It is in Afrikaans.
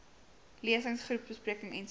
lesings groepbesprekings ens